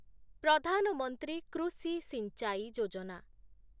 ପ୍ରଧାନ ମନ୍ତ୍ରୀ କୃଷି ସିଞ୍ଚାଇ ଯୋଜନା